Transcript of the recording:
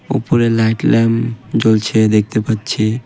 উপরের light lamp জ্বলছে দেখতে পাচ্ছি।